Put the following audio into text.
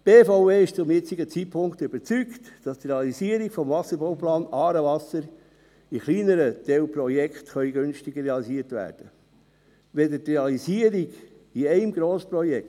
Die BVE ist zum jetzigen Zeitpunkt überzeugt, dass der Wasserbauplan «Aarewasser» in kleineren Teilprojekten günstiger realisiert werden kann als die Realisierung in einem Grossprojekt.